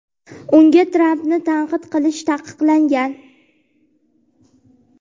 unga Trampni tanqid qilish taqiqlangan.